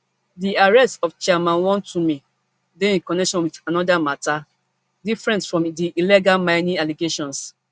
di arrest of chairman wontumi dey in connection wit anoda mata different from di illegal mining allegations